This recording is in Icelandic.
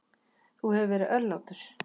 Þú hefur verið örlátur.